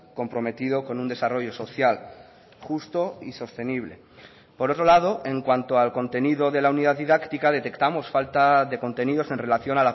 comprometido con un desarrollo social justo y sostenible por otro lado en cuanto al contenido de la unidad didáctica detectamos falta de contenidos en relación